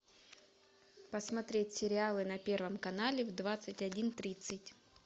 посмотреть сериалы на первом канале в двадцать один тридцать